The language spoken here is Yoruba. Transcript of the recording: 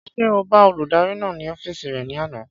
Ṣé o bá olùdarí náà ní ọ́fìsì rẹ̀ ní àná?